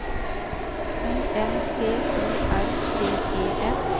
I M P O R T E N